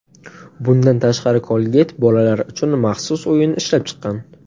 Bundan tashqari, Colgate bolalar uchun maxsus o‘yin ishlab chiqqan.